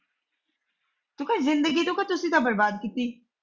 ਤੂੰ ਕਹਿ ਜ਼ਿੰਦਗੀ ਤੋਂ ਤੁਸੀ ਤਾਂ ਬਰਬਾਦ ਕੀਤੀ।